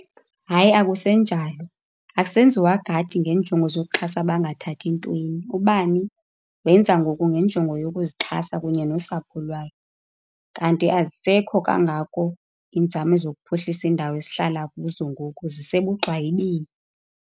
Hayi, akusenjalo. Akusenziwa gadi ngenjongo zokuxhasa abangathathi ntweni. Ubani wenza ngoku ngenjongo yokuzixhasa kunye nosapho lwayo. Kanti azisekho kangako iinzame zokuphuhlisa iindawo esihlala kuzo ngoku, zisebugxwayibeni.